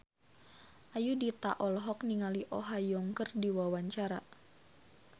Ayudhita olohok ningali Oh Ha Young keur diwawancara